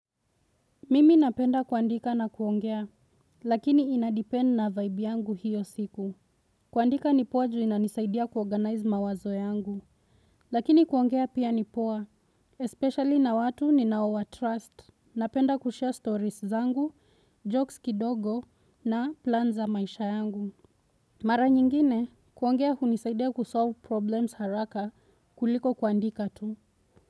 Mimi napenda kuandika na kuongea, lakini ina depend na vibe yangu hiyo siku. Kuandika ni poa juu inanisaidia kuorganize mawazo yangu. Lakini kuongea pia ni poa, especially na watu ninaowatrust, napenda kushare stories zangu, jokes kidogo na plan za maisha yangu. Mara nyingine, kuongea hunisaidia kusolve problems haraka kuliko kuandika tu.